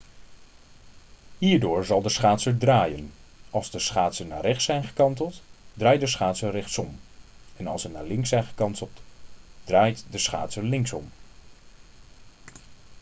hierdoor zal de schaatser draaien als de schaatsen naar rechts zijn gekanteld draait de schaatser rechtsom en als ze naar links zijn gekanteld draait de schaatser linksom